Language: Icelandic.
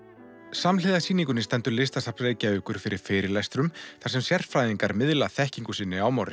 samhliða sýningunni stendur Listasafn Reykjavíkur fyrir fyrirlestrum þar sem sérfræðingar miðla þekkingu sinni á